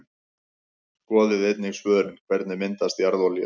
Skoðið einnig svörin: Hvernig myndast jarðolía?